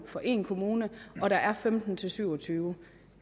for én kommune og der er femten til syv og tyve